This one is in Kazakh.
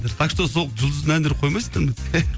так что сол жұлдыздың әндерін қоймайсыңдар ма